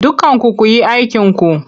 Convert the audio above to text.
Dukkanku ku yi aikinku!